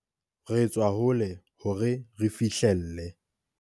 Re tswa hole hore re fihlelle.